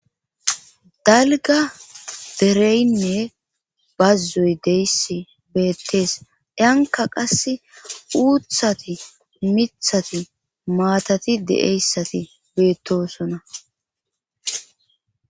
Dalga dereynne bazzoy deyss beettees anka qass uuthati mithati maatati de7eyssati beettosona